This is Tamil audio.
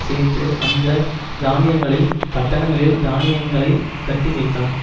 சேர்த்து அந்த தானியங்களைப் பட்டணங்களில் தானியங்களைக் கட்டிவைத்தான்